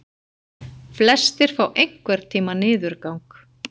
Flestir fá einhvern tíma niðurgang.